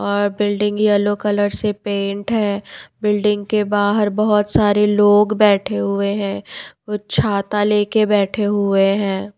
Building yellow colour से paint है और बिल्डिंग के बाहर बहुत सारे लोग बैठे हुए हैं। कुछ छाता ले के बैठे हुए हैं।